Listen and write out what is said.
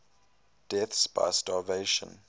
deaths by starvation